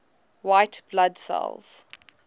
white blood cells